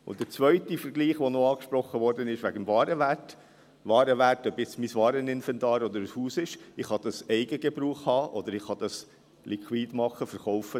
Und der zweite Vergleich – betreffend den Warenwert –, der noch angesprochen wurde: Warenwerte, ob dies jetzt mein Wareninventar oder ein Haus ist, kann ich zum Eigengebrauch haben oder ich kann sie liquide machen, verkaufen.